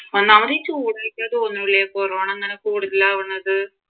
ഒന്നാമത് ഈ കൊറോണ ഇങ്ങനെ കൂടുതലാവുന്നത്